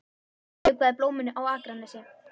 Ég vökvaði blómin á Akranesi.